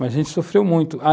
Mas a gente sofreu muito a,